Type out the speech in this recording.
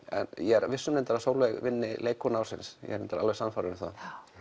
ég er viss um að Sólveig vinnur leikkona ársins ég er alveg sannfærður um það